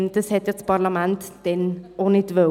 Das wollte das Parlament damals auch nicht.